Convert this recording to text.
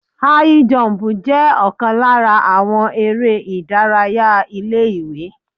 High jump jẹ́ ọ̀kan lára àwọn eré ìdárayá ilé ìwé.